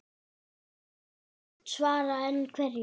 Bretar segjast svara, en hverju?